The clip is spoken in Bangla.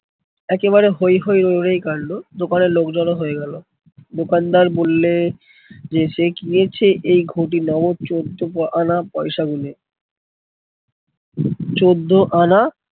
একেবারে হৈ হৈ রৈ রৈ কান্ড। দোকানে লোক জড়ো হয়ে গেলো। দোকানদার বললে যে সে কিনেছে এই ঘটি নগদ চোদ্দ আনা পয়সা গুনে। চোদ্দ আনা